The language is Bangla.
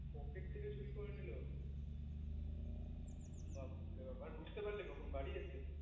পকেট থেকে চুরি করে নিলো বাপরে আর বুজতে পারলে কখন বাড়ি এসে